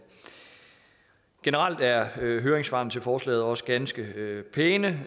generelt er høringssvarene til forslaget også ganske pæne